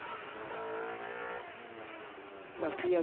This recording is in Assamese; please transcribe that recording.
বাকি আজি